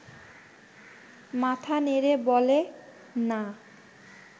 মাথা নেড়ে বলে– না